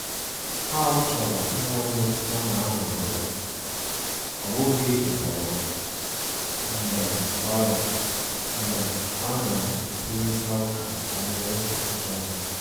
Ọ chọrọ inwe mmetụta na a nụ̀rụ ya,ọ bụghi ijikwa ya, mgbe ọ ya, mgbe ọ na-ekwurịta ụka banyere ọchichọ ya.